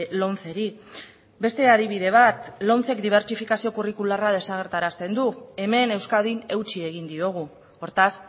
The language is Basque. lomceri beste adibide bat lomcek dibertsifikazio kurrikularra desagertarazten du hemen euskadin eutsi egin diogu hortaz